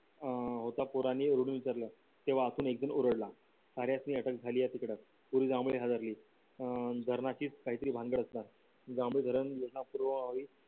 अं तेव्हा आतून एकदा ओरडला साऱ्यांसनी अटक झाली हादरली अं धरणाचीच काहीतरी भानगड असणार